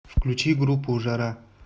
включи группу жара